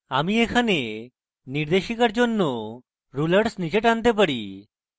আমি এখানে নির্দেশিকার জন্য rulers নীচে টানতে পারি